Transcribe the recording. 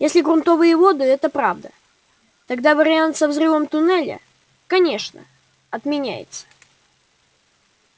если грунтовые воды это правда тогда вариант со взрывом туннеля конечно отменяется